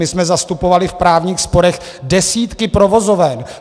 My jsme zastupovali v právních sporech desítky provozoven.